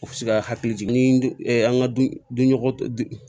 U bɛ se ka hakili jigin ni an ka dunɲɔgɔ